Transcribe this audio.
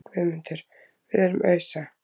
GUÐMUNDUR: Við erum að ausa.